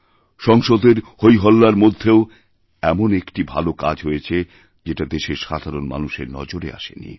সংসদের হইহল্লার মধ্যেও এমনই একটি ভালো কাজ হয়েছে যেটা দেশের সাধারণ মানুষেরনজরে আসেনি